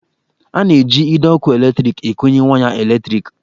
A na-eji ide ọkụ eletriki ekonye waya eletriki